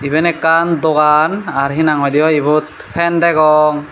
iben ekkan dogan ar hinang hoidey ye ibot fen degong.